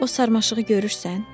O sarmaşığı görürsən?